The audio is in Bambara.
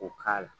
O k'a la